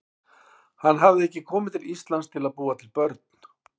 Hann hafði ekki komið til Íslands til að búa til börn.